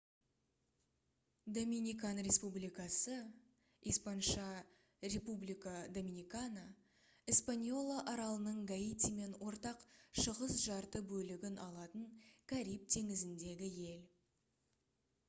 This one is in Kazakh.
доминикан республикасы испан. república dominicana - эспаньола аралының гаитимен ортақ шығыс жарты бөлігін алатын кариб теңізіндегі ел